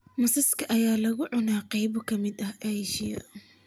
Masaska ayaa lagu cunaa qaybo ka mid ah Aasiya